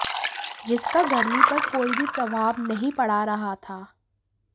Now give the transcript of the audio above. जिसका गर्मी पर कोई भी प्रभाव नहीं पड़ा रहा था